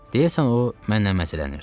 Deyəsən o mənlə məzələnirdi.